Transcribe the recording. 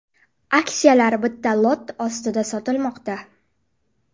Aksiyalar bitta lot ostida sotilmoqda.